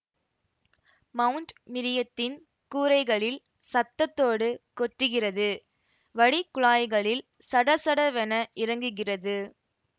mount மிரியத்தின் கூரைகளில் சத்தத்தோடு கொட்டுகிறது வடிகுழாய்களில் சடசடவென இறங்குகிறது